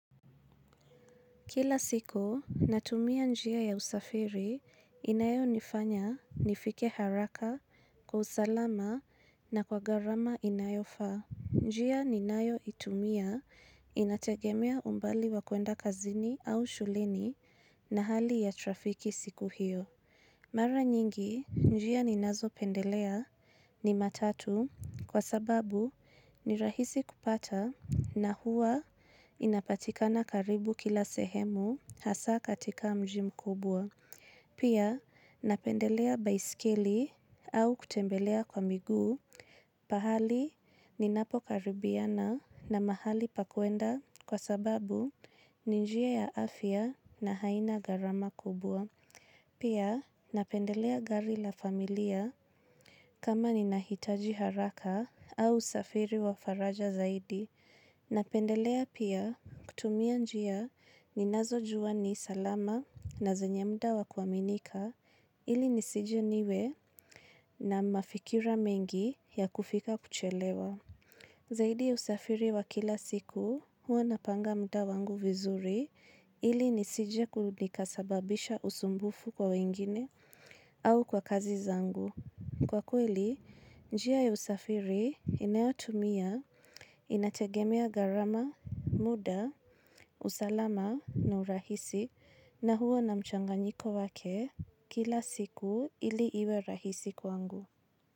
Kila siku, natumia njia ya usafiri inayonifanya nifike haraka kwa usalama na kwa gharama inayofaa. Njia ninayoitumia inategemea umbali wa kuenda kazini au shuleni na hali ya trafiki siku hiyo. Mara nyingi, njia ninazopendelea ni matatu kwa sababu ni rahisi kupata na hua inapatikana karibu kila sehemu hasa katika mji mkubwa. Pia, napendelea baiskeli au kutembelea kwa miguu, pahali ninapo karibiana na mahali pa kuenda kwa sababu ni njia ya afya na haina gharama kubwa. Pia napendelea gari la familia kama ninahitaji haraka au usafiri wa faraja zaidi. Napendelea pia kutumia njia ninazojua ni salama na zenye muda wa kuaminika ili nisije niwe na mafikira mengi ya kufika kuchelewa. Zaidi ya usafiri wa kila siku huwa napanga muda wangu vizuri ili nisijekulikasababisha usumbufu kwa wengine au kwa kazi zangu. Kwa kweli, njia ya usafiri inayotumia inategemea gharama, muda, usalama na urahisi na huwa na mchanganyiko wake kila siku ili iwe rahisi kwangu.